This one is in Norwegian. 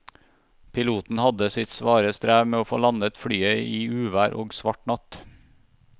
Piloten hadde sitt svare strev med å få landet flyet i uvær og svart natt.